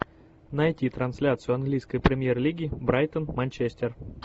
найти трансляцию английской премьер лиги брайтон манчестер